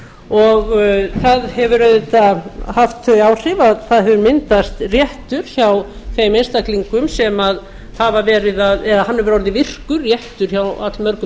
og það hefur auðvitað haft þau áhrif að það hefur myndast réttur hjá þeim einstaklingum sem hafa verið að eða það hefur orðið virkur réttur hjá allmörgum